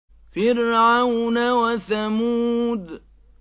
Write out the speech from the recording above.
فِرْعَوْنَ وَثَمُودَ